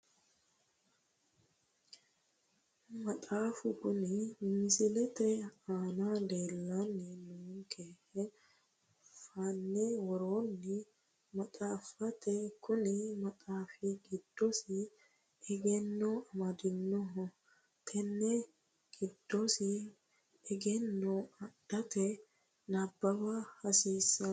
Maxaafa kuni misilete aana leellanni noonkehe fanne worroonni maxaafaati kuni maxaafu giddosi egenno amadinoho tenne giddosita egenno adhate nabbawa hasiissanno